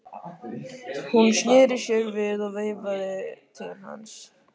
Hún sneri sér við og veifaði til hans.